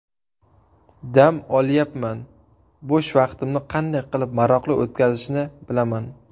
Dam olyapman, bo‘sh vaqtimni qanday qilib maroqli o‘tkazishni bilaman.